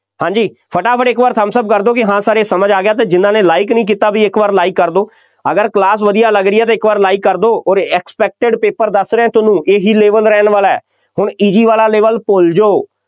ਹਾਂਜੀ ਫਟਾਫਟ ਇੱਕ ਵਾਰ thumbs up ਕਰ ਦਿਓ ਕਿ ਹਾਂ sir ਇਹ ਸਮਝ ਆ ਗਿਆ ਅਤੇ ਜਿੰਨਾ ਨੇ like ਨਹੀਂ ਕੀਤਾ ਬਈ ਇੱਕ ਵਾਰ like ਕਰ ਦਿਓ, ਅਗਰ class ਵਧੀਆ ਲੱਗ ਰਹੀ ਹੈ ਤਾਂ ਇੱਕ ਵਾਰ like ਕਰ ਦਿਓ ਅੋਰ expected paper ਦੱਸ ਰਿਹਾਂ ਤੁਹਾਨੂੰ ਇਹੀ level ਰਹਿਣ ਵਾਲਾ, ਹੁਣ easy ਵਾਲਾ level ਭੁੱਲ ਜਾਓ।